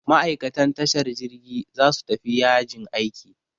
Ma'aikatan tashar jirgi za su tafi yajin aiki.